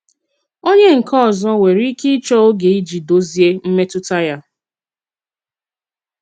Ònye nkè ọzọ nwèrè ike ịchọ ógè iji dozie mmetụta ya.